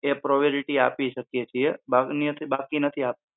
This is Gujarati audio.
ને priority આપી શકીયે છીએ બાકી નથી આપતા